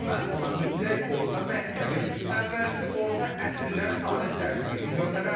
Amma mən ona mütləq orta məktəbin əvvəlki orta əsrlər tarix dərsliyini göndərərdim.